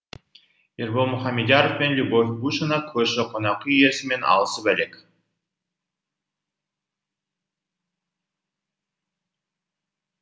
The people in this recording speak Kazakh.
ербол мұхамедьяров пен любовь бушина көрші қонақүй иесімен алысып әлек